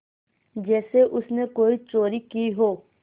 जैसे उसने कोई चोरी की हो